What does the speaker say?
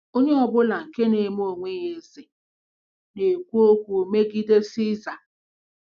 Onye ọ bụla nke na-eme onwe ya eze na-ekwu okwu megide Siza. ’”